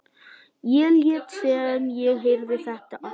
Ég lét sem ég heyrði þetta ekki.